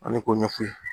Ani k'o ɲɛf'u ye